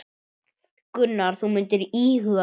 Gunnar: Þú myndir íhuga það?